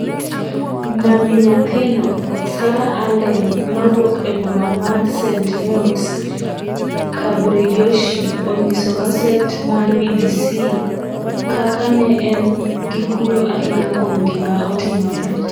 Mami nyathino, Sarah Allen mawuok e boma ma St Neots, Cambridgeshire, onyiso gaset mar BBC kaka ne en gi kuyo ahinya kuom gima otimore.